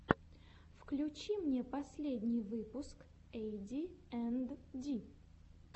включи мне последний выпуск эйди энд ди